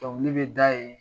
Dɔnkili bɛ da yen.